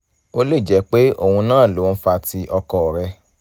ó lè jẹ́ pé òun náà ló ń fa ti ọkọ rẹ